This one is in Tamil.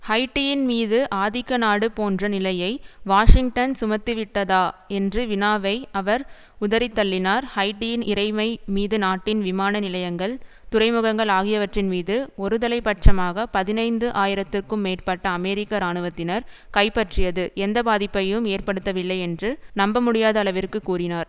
ஹைட்டியின் மீது ஆதிக்கநாடு போன்ற நிலையை வாஷிங்டன் சுமத்திவிட்டதா என்று வினாவை அவர் உதறித்தள்ளினார் ஹைட்டியின் இறைமைமீது நாட்டின் விமான நிலையங்கள் துறைமுகங்கள் ஆகியவற்றின்மீது ஒருதலை பட்சமாக பதினைந்து ஆயிரத்துக்கும் மேற்பட்ட அமெரிக்க இராணுவத்தினர் கைப்பற்றியது எந்த பாதிப்பையும் ஏற்படுத்தவில்லை என்று நம்ப முடியாத அளவிற்கு கூறினார்